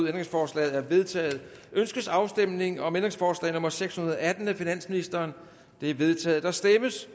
ændringsforslaget er vedtaget ønskes afstemning om ændringsforslag nummer seks hundrede og atten af finansministeren det er vedtaget der stemmes